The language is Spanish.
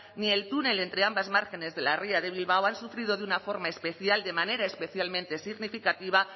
ni el túnel entre ambas márgenes de la ría de bilbao han sufrido de una forma especial de manera especialmente significativa